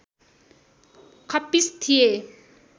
खप्पिस थिए